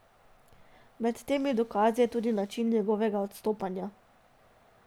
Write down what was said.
Med temi dokazi je tudi način njegovega odstopanja.